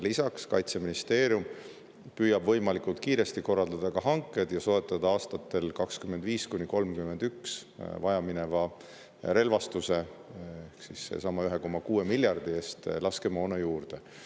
Lisaks püüab Kaitseministeerium võimalikult kiiresti korraldada hanked ja soetada aastatel 2025–2031 sellesama 1,6 miljardi eest relvastusele vajaminevat laskemoona juurde.